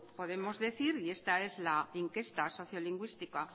podemos decir esta es la encuesta sociolingüística